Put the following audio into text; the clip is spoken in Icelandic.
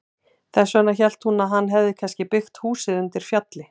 Þess vegna hélt hún að hann hefði kannski byggt húsið undir fjalli.